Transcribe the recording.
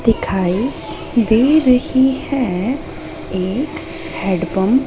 दिखाई दे रही है एक हेडपंप --